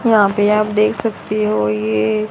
यहां पे आप देख सकती हो ये--